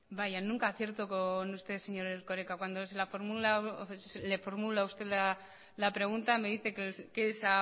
vaya nunca acierto con usted señor erkoreka cuando le formulo a usted la pregunta me dice que es